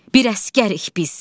Bir əsgərik biz.